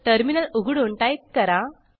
terminal उघडून type करा